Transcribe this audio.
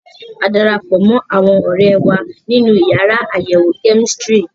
A dara pọ̀ mọ́ àwọn ọ̀rẹ́ wa nínú yàrá àyẹ̀wò kẹ́mísítírì.